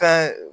Fɛn